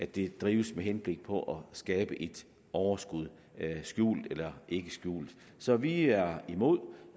det drives med henblik på at skabe et overskud skjult eller ikke skjult så vi er imod